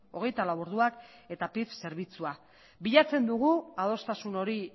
hogeita lau orduak eta pif zerbitzua bilatzen dugu adostasun hori